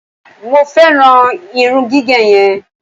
mo feran irun gige yen